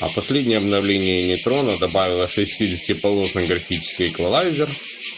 а последнее обновление нейтрона добавило шестидесяти полосный графический эквалайзер